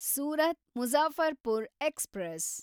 Surat Muzaffarpur express